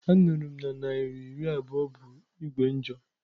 Anuru m na naira iri abuo bu Igwe njo.